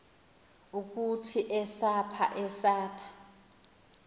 ukuthi esaph esaph